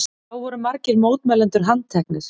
Þá voru margir mótmælendur handteknir